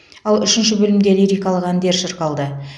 ал үшінші бөлімде лирикалық әндер шырқалды